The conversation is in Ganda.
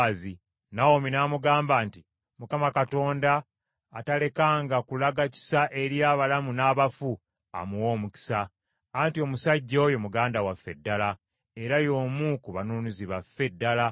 Nawomi namugamba nti, “ Mukama Katonda atalekanga kulaga kisa eri abalamu n’abafu, amuwe omukisa. Anti omusajja oyo muganda waffe ddala, era y’omu ku banunuzi baffe ddala.”